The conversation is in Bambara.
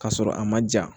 K'a sɔrɔ a ma ja